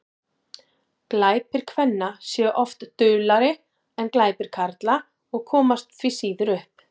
glæpir kvenna séu oft duldari en glæpir karla og komast því síður upp